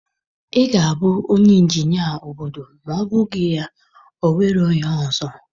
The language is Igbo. Ị ga-abụ onye injinia obodo ma ọ bụghị ya o nwerozi ihe ọzọ